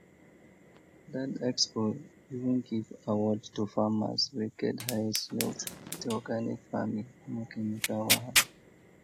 that expo even give award to farmers wey get highest yield with organic farming no chemical wahala